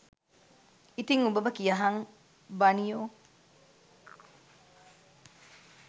ඉතිං උඹම කියහං බනියෝ